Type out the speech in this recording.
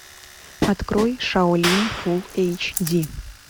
открой шаолинь фул эйч ди